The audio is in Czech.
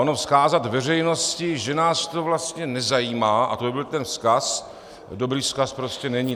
Ono vzkázat veřejnosti, že nás to vlastně nezajímá, a to by byl ten vzkaz, dobrý vzkaz prostě není.